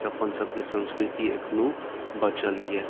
अपन सब के संस्कृति एखनो बचल या।